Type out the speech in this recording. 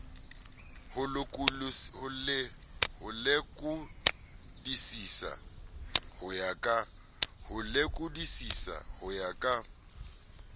ho lekodisisa ho ya ka